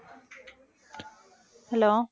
hello